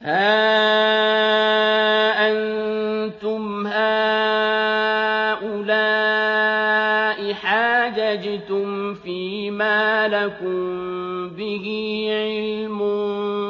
هَا أَنتُمْ هَٰؤُلَاءِ حَاجَجْتُمْ فِيمَا لَكُم بِهِ عِلْمٌ